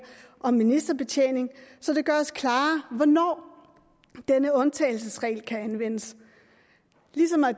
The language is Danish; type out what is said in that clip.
om ministerbetjening så det gøres klarere hvornår denne undtagelsesregel kan anvendes